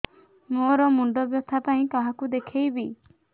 ମୋର ମୁଣ୍ଡ ବ୍ୟଥା ପାଇଁ କାହାକୁ ଦେଖେଇବି